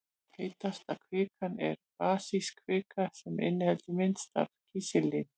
Heitasta kvikan er basísk kvika en hún inniheldur minnst af kísilsýru.